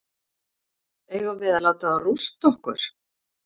Eigum við að láta þá rústa okkur?